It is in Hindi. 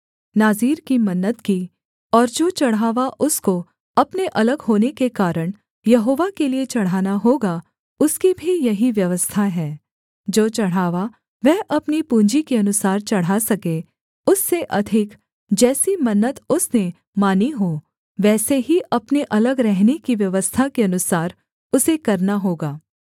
नाज़ीर की मन्नत की और जो चढ़ावा उसको अपने अलग होने के कारण यहोवा के लिये चढ़ाना होगा उसकी भी यही व्यवस्था है जो चढ़ावा वह अपनी पूँजी के अनुसार चढ़ा सके उससे अधिक जैसी मन्नत उसने मानी हो वैसे ही अपने अलग रहने की व्यवस्था के अनुसार उसे करना होगा